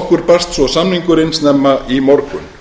okkur barst svo samningurinn snemma í morgun